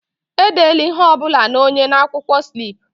Edela ihe ọ bụla na onye na-akwụkwọ slip!